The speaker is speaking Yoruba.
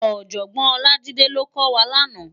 Òjògbòn Olajide ló kò wá làná